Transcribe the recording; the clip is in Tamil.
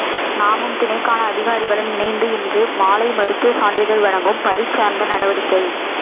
நாமும் திணைக்கள அதிகாரிகளும் இணைந்து இன்று மாலை மருத்துவ சான்றிதழ் வழங்கும் பரீட்சார்த்த நடவடிக்கை